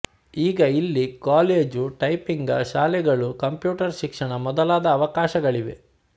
ಈಗ ಇಲ್ಲಿ ಕಾಲೇಜುಟೈಪಿಂಗ ಶಾಲೆಗಳು ಕಂಪ್ಯೂಟರ್ ಶಿಕ್ಷಣ ಮೊದಲಾದ ಅವಕಾಶಗಳಿವೆ